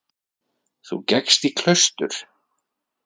Þú gekkst í klaustur.